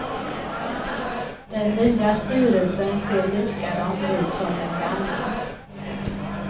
Den nya styrelsen ser likadan ut som den gamla.